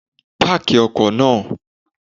Páàkì ọkọ naa